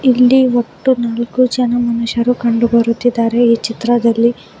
ಇಲ್ಲಿ ಒಟ್ಟು ನಾಲ್ಕು ಜನ ಮನುಷ್ಯರು ಕಂಡು ಬರುತ್ತಿದ್ದಾರೆ ಈ ಚಿತ್ರದಲ್ಲಿ.